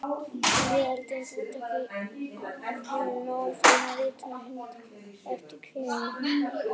Miðaldir eru fátækar af heimildum og nánast einu rituðu heimildirnar liggja eftir kirkjunnar menn.